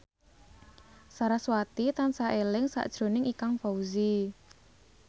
sarasvati tansah eling sakjroning Ikang Fawzi